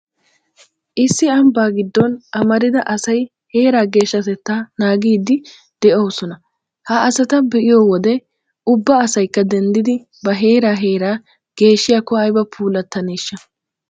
Issi ambbaa giddon amarida asay heeraa geeshshatettaa naagiiddi de'oosona. Ha asata be'iyo wode ubba asaykka denddidi ba heera heeraa geeshshiyaakko ayba puulattaneeshsha!!